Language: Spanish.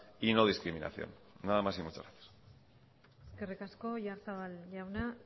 y no discriminación nada más y muchas gracias eskerrik asko oyarzabal jauna